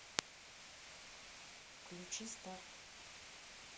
включи старт